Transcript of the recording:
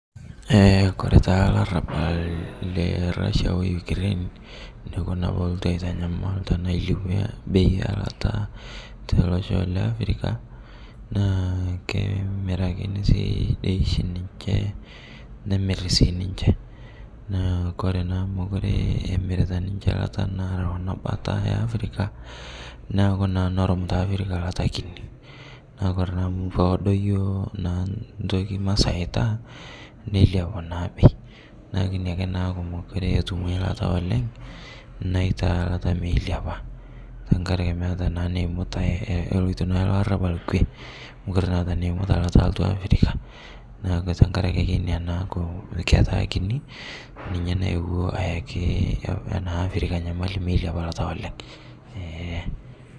Kore taa larabal le Russia oo UK neikuna pelotu aitanyamal tanaa ailepie bei elata teloshoo le Africa naa kemirakinii sii dei shi ninshee nemir sii ninshee naa kore naa amu mokuree emiritaa ninshe lataa naloo ana bata ee Africa naaku naa nerum taa Africa lataa kinii naaku naa kore amu koodo yooh naa ntokii naa masaitaa neiliapuu naa bei naaku inia akee mokuree etumoi lataa oleng' naitaa lata meiliapaa tankarakee meata naa neimutai eloitoo naa larabal kwee mokuree naa eata neimuta lata altu Africa naaku tankarakee akee inia naaku ketaa kinii ninyee nayewoo ayakii africa nyamali meiliapa naa lata oleng'.